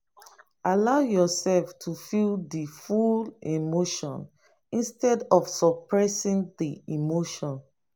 allow yourself to feel di full emotion instead of suppressing di emotion